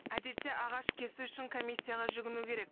әдетте ағаш кесу үшін комиссияға жүгіну керек